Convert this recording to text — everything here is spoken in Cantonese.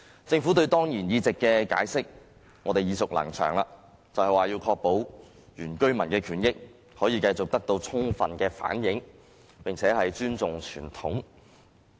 政府就當然議席的解釋，我們已經耳熟能詳，就是要確保原居民的權益可以繼續得到充分的反映，以及尊重傳統。